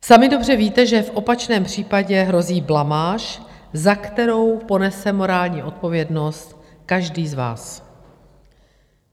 Sami dobře víte, že v opačném případě hrozí blamáž, za kterou ponese morální odpovědnost každý z vás.